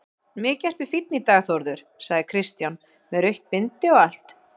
Mikið ertu fínn í dag Þórður, sagði Kristján, með rautt bindi og allt.